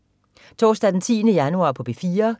Torsdag den 10. januar - P4: